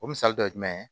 O misali dɔ ye jumɛn ye